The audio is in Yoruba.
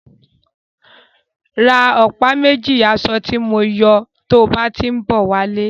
Ra ọ̀pá méjì asọ ti mọ ń yọ tó bá tí ń bọ̀ wá lé.